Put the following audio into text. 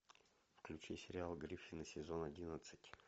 включи сериал гриффины сезон одиннадцать